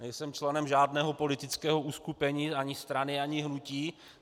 Nejsem členem žádného politického uskupení, ani strany, ani hnutí.